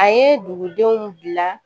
A ye dugudenw bila